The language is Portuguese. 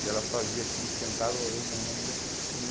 E ela fazia aquilo, esquentava, eu e minha irmã ia